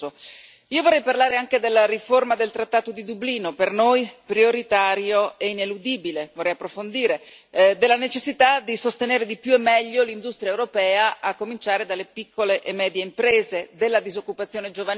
Io vorrei parlare anche della riforma del trattato di Dublino per noi prioritaria e ineludibile vorrei approfondire della necessità di sostenere di più e meglio l'industria europea a cominciare dalle piccole e medie imprese, della disoccupazione giovanile.